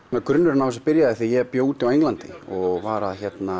grunnurinn á þessu byrjaði þegar ég bjó á Englandi og var